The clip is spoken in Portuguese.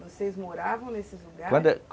Vocês moravam nesses lugares? Quando